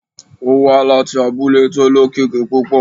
Ó wá láti abúlé tí ó lókìkí púpọ̀